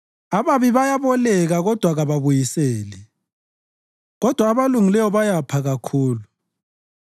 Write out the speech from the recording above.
Ababi bayaboleka kodwa kababuyiseli, kodwa abalungileyo bayapha kakhulu;